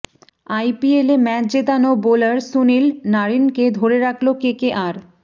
আইপিএলে ম্যাচ জেতানো বোলার সুনীল নারিনকে ধরে রাখল কেকেআর